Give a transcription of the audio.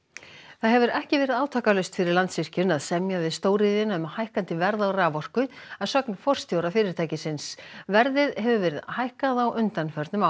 það hefur ekki verið átakalaust fyrir Landsvirkjun að semja við stóriðjuna um hækkandi verð á raforku að sögn forstjóra fyrirtækisins verðið hefur verið hækkað á undanförnum árum